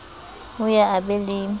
o ye a be le